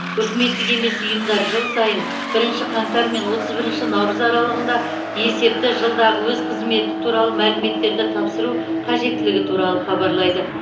үкіметтік емес ұйымдар жыл сайын бірінші қаңтар мен отыз бірінші наурыз аралығында есепті жылдағы өз қызметі туралы мәліметтерді тапсыру қажеттілігі туралы хабарлайды